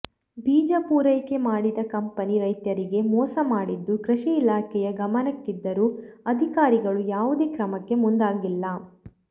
ಬೀಜ ಪೂರೈಕೆ ಮಾಡಿದ ಕಂಪನಿ ರೈತರಿಗೆ ಮೋಸ ಮಾಡಿದ್ದು ಕೃಷಿ ಇಲಾಖೆಯ ಗಮನಕ್ಕಿದ್ದರೂ ಅಧಿಕಾರಿಗಳು ಯಾವುದೇ ಕ್ರಮಕ್ಕೆ ಮುಂದಾಗಿಲ್ಲ